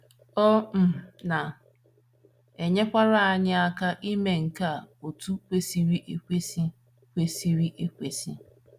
Ọ um na - enyekwara anyị aka ime nke a otú kwesịrị ekwesị. kwesịrị ekwesị.